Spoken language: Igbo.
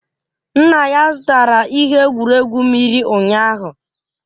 Nna ya zụtara ihe egwuregwu mmiri ụnyaahụ